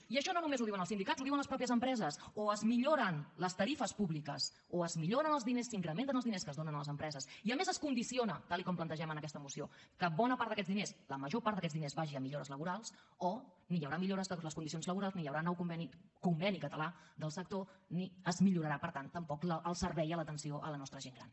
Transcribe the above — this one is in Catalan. i això no només ho diuen els sindicats ho diuen les mateixes empreses o es milloren les tarifes públiques o es milloren els diners s’incrementen els diners que es donen a les empreses i a més es condiciona tal com plantegem en aquesta moció que bona part d’aquests diners la major part d’aquests diners vagi a millores laborals o ni hi haurà millores de les condicions laborals ni hi haurà nou conveni conveni català del sector ni es millorarà per tant tampoc el servei d’atenció a la nostra gent gran